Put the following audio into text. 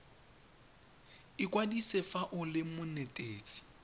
ikwadise fa o le monetetshi